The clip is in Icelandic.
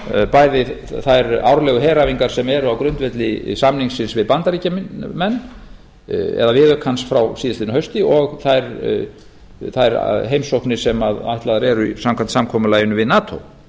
bæði þær árlegu heræfingar sem eru á grundvelli samningsins við bandaríkjamenn eða viðaukans frá síðastliðnu hausti og þær heimsóknir sem ætlaðar eru samkvæmt samkomulaginu